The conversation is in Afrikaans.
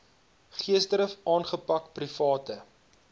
geesdrif aangepak private